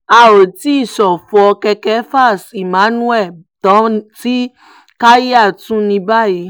a ò tí ì ṣọ̀fọ̀ cs] kekefas emmanuel tán tí chalya tún ní báyìí